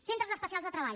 centres especials de treball